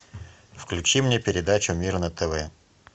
включи мне передачу мир на тв